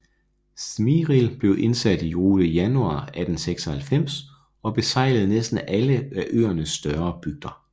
Smiril blev indsat i rute januar 1896 og besejlede næsten alle af øernes større bygder